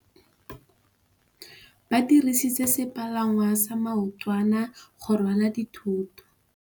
Ba dirisitse sepalangwasa maotwana go rwala dithôtô.